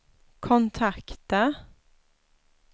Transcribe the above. kontakta